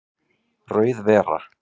Rauð vera